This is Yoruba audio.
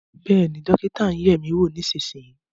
Bẹ́ẹ̀ ni, dókítà ń yẹ̀ ẹ́ wò, èmi nísinsìnyí